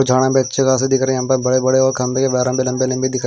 झाड़ियाँ भी अच्छे खासे दिख रहे है बड़े बड़े और यहाँ पर खम्बे के लम्बे-लम्बे दिख रहे--